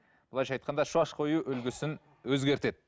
былайынша айтқанда шаш қою үлгісін өзгертеді